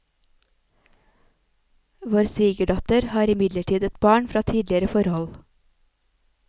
Vår svigerdatter har imidlertid et barn fra tidligere forhold.